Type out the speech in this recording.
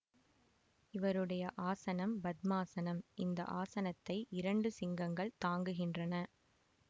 இவருடைய ஆசனம் பத்மாசனம் இந்த ஆசனத்தை இரண்டு சிங்கங்கள் தாங்குகின்றன